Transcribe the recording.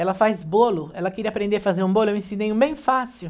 Ela faz bolo, ela queria aprender a fazer um bolo, eu ensinei um bem fácil.